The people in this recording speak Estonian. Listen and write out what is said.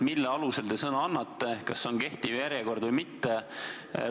Mille alusel te sõna annate – kas see on kehtiv järjekord või mitte?